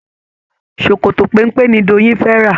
Ṣòkòtò péńpé ni Doyin fé rà.